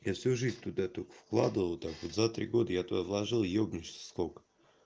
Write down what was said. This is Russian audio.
я всю жизнь туда только вкладывал так вот за три года я туда вложил ёбнешься сколько